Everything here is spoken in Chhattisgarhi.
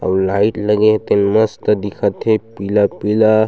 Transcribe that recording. अउ लाइट लगे हे तेन मस्त दिखत हे पीला-पीला--